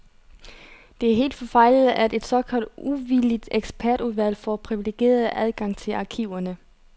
Det er helt forfejlet, at et såkaldt uvildigt ekspertudvalg får privilegeret adgang til arkiverne.